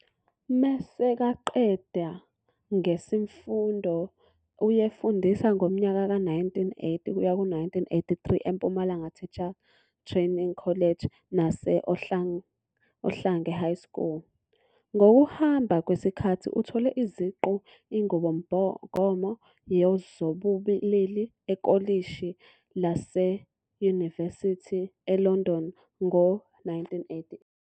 Meseka qeda ngesimfundo uyefundisa ngomnyaka ka 1980 kuya ku 1983 eMpumalanga Teachers Training College nase Ohlange High School. Ngokuhamba kwesikathi uthole iziqu inqubomgomo yezobulili ekolishi laseuyinivesithi eLondon ngo 1988.